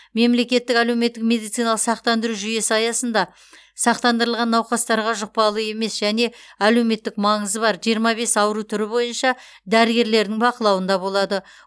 мемлекеттік әлеуметтік медициналық сақтандыру жүйесі аясында сақтандырылған науқастарға жұқпалы емес және әлеуметтік маңызы бар жиырма бес ауру түрі бойынша дәрігерлердің бақылауында болады